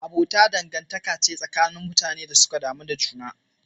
Abota dangantaka ce tsakanin mutanen da suka damu da juna.